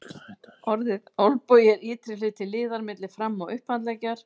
Orðið olnbogi er ytri hluti liðar milli fram- og upphandleggjar.